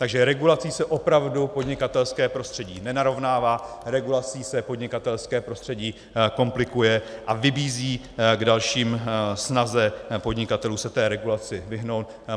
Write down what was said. Takže regulací se opravdu podnikatelské prostředí nenarovnává, regulací se podnikatelské prostředí komplikuje a vybízí k další snaze podnikatelů se té regulaci vyhnout.